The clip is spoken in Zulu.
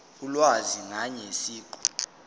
ulwazi ngaye siqu